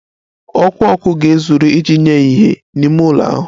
Ọkụ ọkụ ga-ezuru iji nye ìhè n'ime ụlọ ahụ